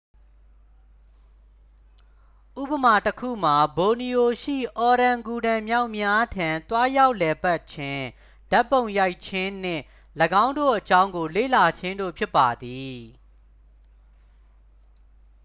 ဥပမာတစ်ခုမှာ ဘော်နီယို ရှိ အော်ရန်ဂူတန်မျောက်များထံ သွားရောက်လည်ပတ်ခြင်း ဓာတ်ပုံရိုက်ခြင်း နှင့် ၎င်းတို့အကြောင်းကို လေ့လာခြင်းတို့ဖြစ်ပါသည်